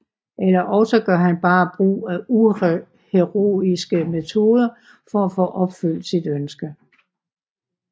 Eller også gør han bare brug af uheroiske metoder for at få opfyldt sit ønske